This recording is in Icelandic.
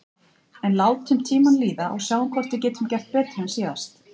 En látum tímann líða og sjáum hvort við getum gert betur en síðast.